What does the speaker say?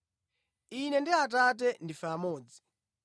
Ine ndi Atate ndife amodzi.”